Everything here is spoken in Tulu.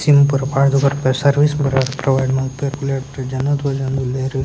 ಪಾಡ್ದ್‌ ಬರ್ಪೆರ್ ಸರ್ವಿಸ್‌ ಪೂರ ಪ್ರೊವೈಡ್‌ ಮಾನ್ಪೇರ್ ಜನ ತೋಜೊಂದ್ ಉಲ್ಲೆರ್.